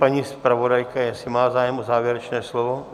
Paní zpravodajka, jestli má zájem o závěrečné slovo?